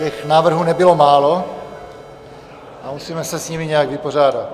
Těch návrhů nebylo málo a musíme se s nimi nějak vypořádat.